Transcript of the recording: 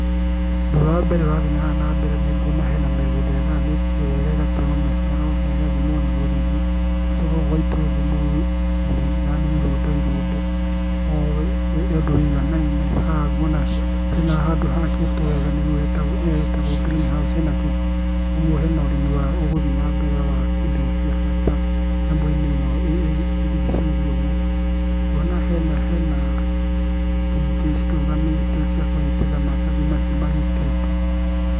Ũndũ ũrĩa wa mbere ũrathiĩ haha na mbere nĩ nguona hena mĩgũnda ĩgayanitio wega, ĩgatemwo mĩtaro na ĩgathimwo na rũrigi. Gũgacoka gũgaitwo thumu, thumu yaani irũndo irũndo, o ũndũ wũiganaine, haha nguona hena handũ hakĩtwo wega nĩyo ĩtagwo green house ĩna kĩ, ũguo hena ũrĩmi ũguthiĩ na mbere wa indo cia bata nyamũ-inĩ ĩno ĩrigicĩirio ũguo. Ngona hena hena itingĩ cirũgamĩte cia kũnyitĩrĩra maratathi macio magitĩte.